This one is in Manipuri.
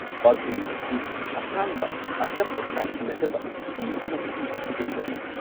ꯄꯒ꯭ꯔꯤ ꯑꯁꯤ ꯑꯁꯥꯡꯕ ꯑꯆꯝꯕ ꯇꯥꯢꯁꯤꯟꯅꯗꯕ ꯐꯤ ꯑꯃꯗꯒꯤ ꯁꯦꯝꯕꯅꯤ꯫